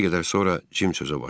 Bir qədər sonra Jim sözə başladı.